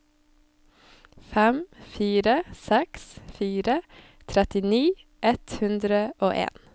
fem fire seks fire trettini ett hundre og en